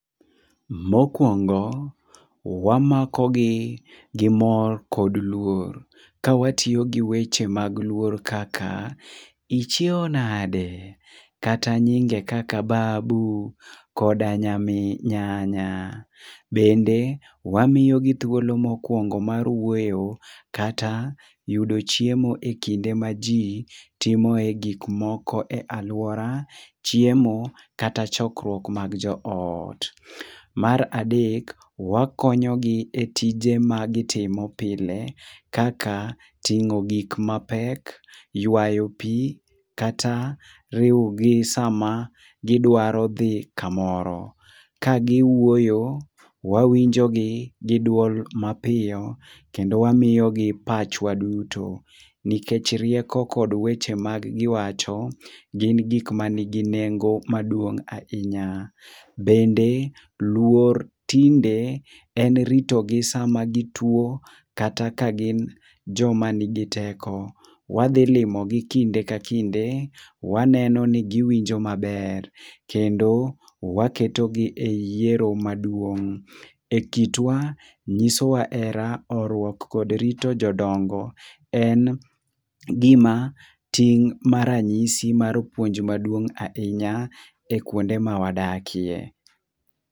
Mokuongo wamakogi gi mor kod luor ka watiyo gi weche mag luor kaka, ichiew nade, kata nyinge kaka babu koda nyamin nyanya. Bende wamiyogi thuolo mokuongo mar wuoyo. Kata yudo chiemo ekinde maji timoe gik moko e aluora. Chiemo kata chokruok mag joot. Mar adek, wakonyogi e tije magitimo pile kaka ting'o gik mapek, yuayo pi, kata riwogi sama gidwaro dhi kamoro. Ka giwuoyo, wawinjogi gi duol mapiyo kendo wamiyogi pachwa duto. Nikech rieko kod weche magiwacho gin gik manigi nengo maduong' ahinya. Bende luor tinde en ritogi sama gituo kata ka gin joma nigi teko. Wadhi limogi kinde ka kinde, waneno ni giwinjo maber kendi waketogi e yiero maduong'. Ekitwa nyisowa hera, horuok kod rito jodongo. En gima ting' maranyisi mar puonj maduong' ahinya e kuonde mawadakie.